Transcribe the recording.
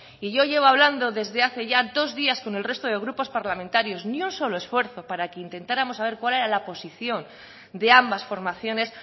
y yo llevo hablando desde hace ya dos días con el resto de grupos parlamentarios ni un solo esfuerzo para que intentáramos saber cuál era la posición de ambas formaciones